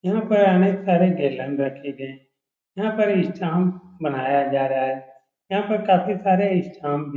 यहाँ पर अनेक सारे गेलन रखे गए हैं यहाँ पर इस्टाम्प मनाया जा रहा है यहाँ पर काफ़ी सारे इस्टाम्प भी --